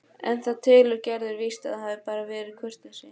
En það telur Gerður víst að hafi bara verið kurteisi.